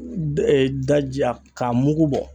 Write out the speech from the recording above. Ɛɛ daji a k'a mugu bɔ